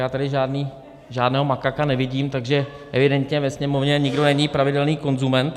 Já tady žádného makaka nevidím, takže evidentně ve Sněmovně nikdo není pravidelný konzument.